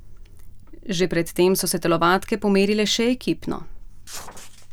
Že pred tem so se telovadke pomerile še ekipno.